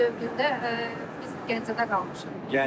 İşğal dövründə biz Gəncədə qalmışıq.